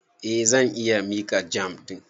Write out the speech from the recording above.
Eh, zan iya miƙa jam ɗin.